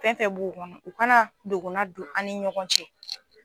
Fɛn fɛn b'u kɔnɔ u kana dogona don an ni ɲɔgɔn cɛ.